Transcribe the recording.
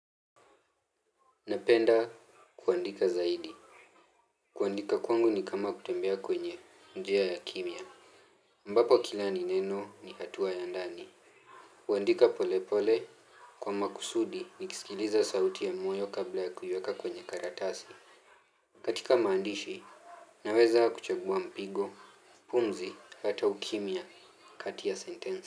Napenda kuandika zaidi. Kuandika kwangu ni kama kutembea kwenye njia ya kimya. Ambapo kila ni neno ni hatua ya ndani. Huandika polepole kwa makusudi nikisikiliza sauti ya moyo kabla ya kuiweka kwenye karatasi. Katika maandishi naweza kuchambua mpigo, pumzi, hata ukimya kati ya sentensi.